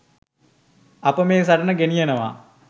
අප මේ සටන ගෙනියනවා.